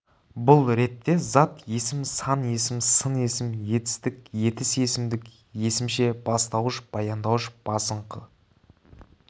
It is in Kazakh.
бұл ретте зат есім сан есім сын есім етістік етіс есімдік есімше бастауыш баяндауыш басыңқы с